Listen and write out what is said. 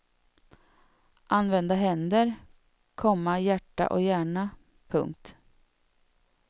Använda händer, komma hjärta och hjärna. punkt